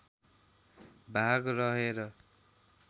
भाग रहेर